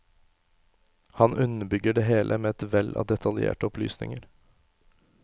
Han underbygger det hele med et vell av detaljerte opplysninger.